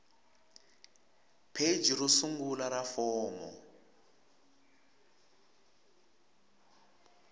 pheji ro sungula ra fomo